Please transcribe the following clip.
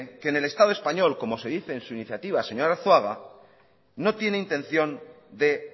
que en el estado español como se dice en su iniciativa señor arzuaga no tiene intención de